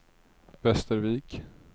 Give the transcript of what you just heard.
Västervik